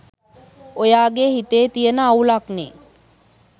ඔයාගෙ හිතේ තියෙන අවුලක්නේ.